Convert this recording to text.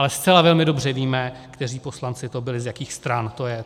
Ale zcela velmi dobře víme, kteří poslanci to byli, z jakých stran to je.